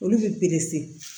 Olu bɛ perese